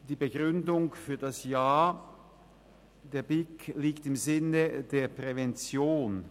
Die Begründung für das Ja: Ein Ja ist im Sinne der Prävention;